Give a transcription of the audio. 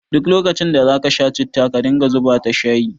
Duk lokacin da za ka sha citta ka dinga zuba ta shayi